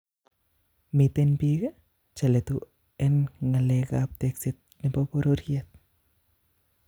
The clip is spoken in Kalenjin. Miten piik cheletu en ngalekap tekseet nepo pororyeet